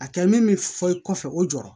A kɛ min mi fɔ kɔfɛ o jɔrɔ